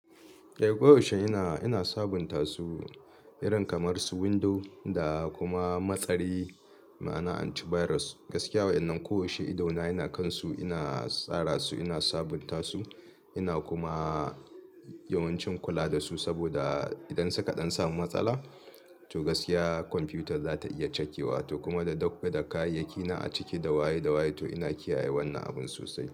Eh koyaushe ina, ina sabunta su irin kamar su window da kuma matsari ma'a na antivirus. Gaskiya wa'ƴannan ko yaushe ido na yana kansu, ina tsara su, ina sabunta su, ina kuma yawancin kula da su saboda idan suka ɗan samu matsala to gaskiya kwamfiyutar za ta iya cakewa. To kuma da document da kayayyaki na a ciki dawaye dawaye to ina kiyaye wannan abun sosai.